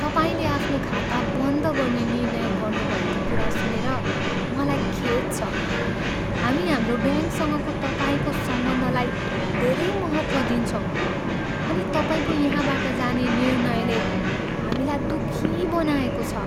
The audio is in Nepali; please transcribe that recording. तपाईँले आफ्नो खाता बन्द गर्ने निर्णय गर्नुभएको कुरा सुनेर मलाई खेद छ। हामी हाम्रो ब्याङ्कसँगको तपाईँको सम्बन्धलाई धेरै महत्त्व दिन्छौँ अनि तपाईँको यहाँबाट जाने निर्णयले हामीलाई दुःखी बनाएको छ।